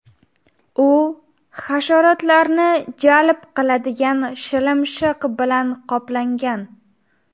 U hasharotlarni jalb qiladigan shilimshiq bilan qoplangan.